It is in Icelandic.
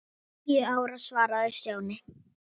Níu ára svaraði Stjáni.